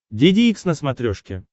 деде икс на смотрешке